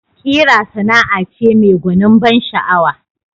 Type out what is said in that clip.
Ƙira Sana'a ce mai gwanin ban sha'awa